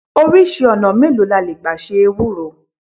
Oríṣi ọ̀nà mélòó la le gbà se Ewúro?